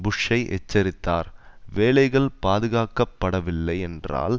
புஷ்ஷை எச்சரித்தார் வேலைகள் பாதுகாக்கப்படவில்லை என்றால்